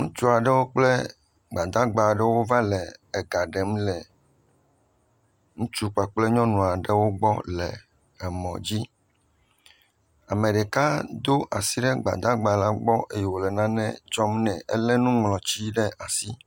Ŋutsu aɖewo kple gbadagba aɖewo va le ega ɖem le ŋutsu kpakple nyɔnu aɖewo gbɔ le emɔdzi, ameɖeka do asi ɖe gbadagba la gbɔ eye wole nane tsɔm nɛ. Ele nuŋlɔti ɖe asi